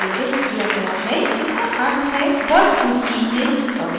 इसका अर्थ है what you see is what you get